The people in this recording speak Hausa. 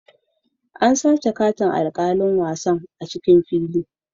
An sace katin alkalin wasan a'cikin fili.